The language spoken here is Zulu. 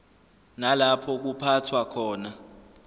nalapho kuphathwa khona